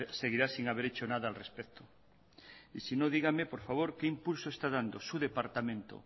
seguirá sin haber hecho nada al respecto y sino díganme por favor que impulso está dando su departamento